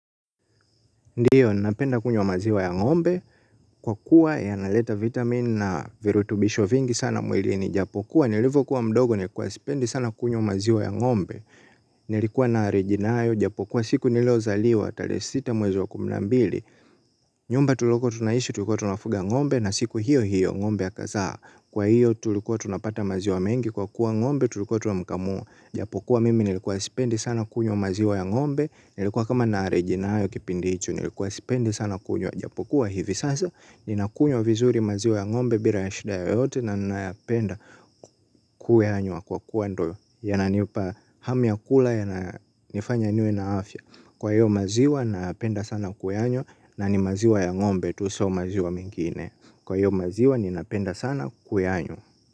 Ndio, napenda kunywa maziwa ya ng'ombe, kwa kuwa ya naleta vitamin na virutubisho vingi sana mwilini japokuwa, nilivyokuwa mdogo, nilikuwa sipendi sana kunywa maziwa ya ngombe, nilikuwa na arijinayo, japokuwa siku niliozaliwa, talehe sita mwezi wa kumi na mbili, nyumba tulioko tunaishi, tulikuwa tunafuga ngombe, na siku hiyo hiyo, ngombe akazaa, kwa hiyo tulikuwa tunapata maziwa mengi kwa kuwa ngombe, tulikuwa tunamkamua, japokuwa mimi nilikuwa sipendi sana kunywa maziwa ya ngombe, nilikuwa kama na arijinayo kipindi hicho, nilikuwa sipendi sana kunywa. Japokuwa hivi sasa ninakunywa vizuri maziwa ya ngombe bila ya shida ya yote na ninayapenda kuyanywa kwa kuwa ndio yananipa hamu ya kula yanifanya niwe na afya kwa hiyo maziwa nayaapenda sana kuyanywa na ni maziwa ya ngombe tu sio maziwa mengine kwa hiyo maziwa ni napenda sana kuyanywa.